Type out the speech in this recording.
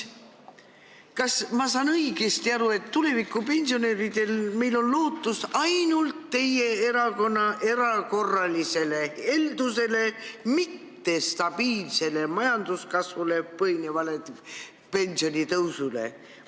Kas ma saan õigesti aru, et tulevikus tuleb pensionäridel loota ainult teie erakonna erakorralisele heldusele, mitte stabiilsel majanduskasvul põhinevale pensionitõusule?